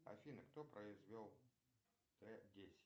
афина кто произвел т десять